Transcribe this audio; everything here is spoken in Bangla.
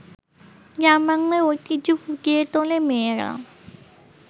গ্রামবাংলার ঐতিহ্য ফুটিয়ে তোলে মেয়েরা